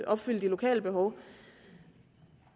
opfylde de lokale behov